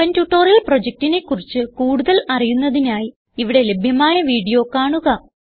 spoken tutorial പ്രൊജക്റ്റിനെ കുറിച്ച് കൂടുതൽ അറിയുന്നതിനായി ഇവിടെ ലഭ്യമായ വീഡിയോ കാണുക